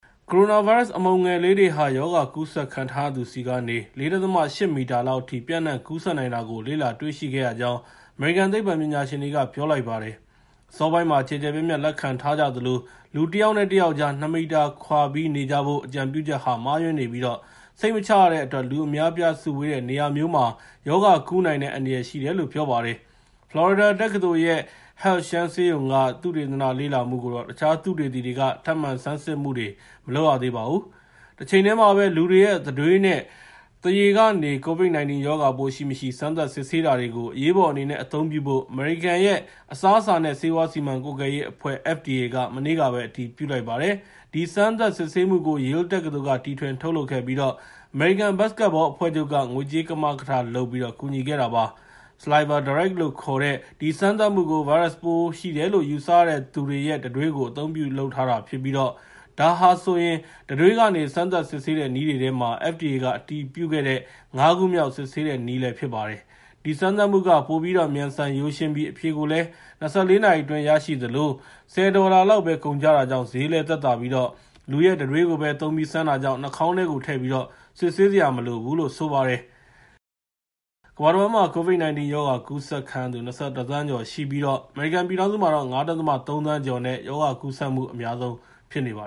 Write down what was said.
ကိုရိုနာဗိုင်းရပ်စ် အမှုန်ငယ်လေးတွေဟာ ရောဂါကူးစက်ခံရထားရသူထံကနေ ၄.၈ မီတာ (၁၅ ပေကျော်) လောက်အထိ ပျံ့နှံ့ကူးစက်နိုင်တာကို လေ့လာတွေ့ရှိခဲ့ရကြောင်း အမေရိကန် သိပ္ပံပညာရှင်တွေက ပြောလိုက်ပါတယ်။ အစောပိုင်းမှာ ကျယ်ကျယ်ပြန့်ပြန့် လက်ခံထားကြသလို လူတယောက်နဲ့ တယောက်ကြား ၂ မီတာ (၆ ပေကျော်) ခွာပြီး နေကြဖို့ အကြံပြုချက်ဟာ မှားယွင်းနေပြီး စိတ်မချရတဲ့အတွက် လူအများအပြား စုဝေးတဲ့ နေရာမျိုးမှာ ရောဂါကူးနိုင်တဲ့ အန္တရာယ် ရှိတယ်လို့လည်း ပြောပါတယ်။ ဖလော်ရီဒါတက္ကသိုလ်ရဲ့ Health Shands ဆေးရုံက သုတေသန လေ့လာမှုကိုတော့ တခြားသုတေသီတွေက ထပ်မံဆန်းစစ်မှုတွေ မလုပ်ရသေးပါဘူး။ တချိန်တည်းမှာပဲ လူတွေရဲ့ တံတွေးနဲ့ သွားရည်တွေကနေ COVID-19 ရောဂါပိုးရှိမရှိ စမ်းသပ်စစ်ဆေးတာတွေကို အရေးပေါ်အနေနဲ့ အသုံးပြုဖို့ အမေရိကန်ရဲ့ အစားအစာနဲ့ ဆေးဝါးစီမံကွပ်ကဲရေးအဖွဲ့ (FDA) က မနေ့ကပဲ အတည်ပြုလိုက်ပါတယ်။ ဒီစမ်းသပ်စစ်ဆေးမှုကို Yale တက္ကသိုလ်က တီထွင်ထုတ်လုပ်ခဲ့ပြီး အမေရိကန် ဘတ်စကက်ဘောအဖွဲ့ချုပ်က ငွေကြေးကမကထလုပ်ပြီး ကူညီခဲ့တာပါ။ SalivaDirect လို့ခေါ်တဲ့ ဒီစမ်းသပ်မှုကို ဗိုင်းရပ်စ်ပိုးရှိတယ်လို့ ယူဆရသူတွေရဲ့ တံတွေးတွေကို အသုံးပြုထုတ်လုပ်ထားပြီး ဒါဟာဆိုရင် တံတွေးကနေ စမ်းသပ်စစ်ဆေးတဲ့ နည်းတွေထဲမှာ FDA က အတည်ပြုခဲ့တဲ့ ၅ ခုမြောက် စစ်ဆေးနည်းလည်း ဖြစ်ပါတယ်။ ဒီစမ်းသပ်မှုက ပိုပြီးတော့ မြန်ဆန်ရိုးရှင်းပြီး အဖြေကိုလည်း ၂၄ နာရီအတွင်း ရရှိသလို ၁၀ ဒေါ်လာလောက်ပဲ ကုန်ကျတာကြောင့် ဈေးလည်းသက်သာပြီး လူရဲ့တံတွေးကိုပဲ သုံးပြီး စမ်းတာကြောင့် နှာခေါင်းထဲကိုထည့်ပြီး စစ်ဆေးစရာ မလိုဘူးလို့လည်း ဆိုပါတယ်။ ကမ္ဘာတဝန်းမှာ COVID-19 ရောဂါကူးစက်ခံရသူ ၂၁ သန်းကျော်ရှိပြီး အမေရိကန်ပြည်ထောင်စုမှာတော့ ၅.၃ သန်းကျော်နဲ့ ရောဂါကူးစက်မှု အများဆုံးဖြစ်ပါ